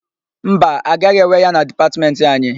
Mba, agaghị ewe ya na Dipatmentị anyị.